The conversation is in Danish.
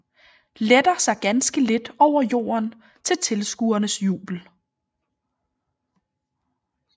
Letter sig ganske lidt over jorden til tilskuernes jubel